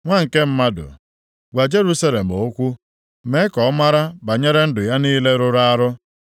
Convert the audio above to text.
“Nwa nke mmadụ, gwa Jerusalem okwu mee ka ọ mara banyere ndụ ya niile rụrụ arụ